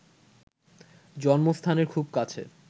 জন্মস্থানের খুব কাছে